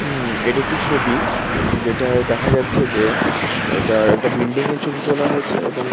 উমম এটি একটি ছবি যেটায় দেখা যাচ্ছে যে ইটা একটা বিল্ডিং এর ছবি তোলা হয়েছে এবং ।